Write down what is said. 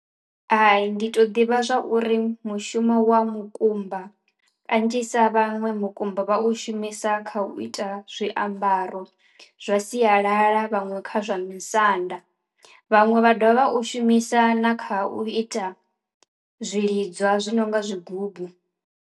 Hai ndi to ḓivha zwa uri mushumo wa mukumba kanzhisa vhaṅwe mukumba vha u shumisa kha u ita zwiambaro zwa sialala, vhaṅwe kha zwa misanda, vhaṅwe vha dovha vha u shumisa na kha u ita zwiḽi zwi nonga zwigubu.